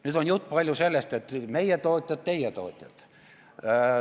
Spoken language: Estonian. Nüüd, siin on juttu olnud meie tootjatest ja teie tootjatest.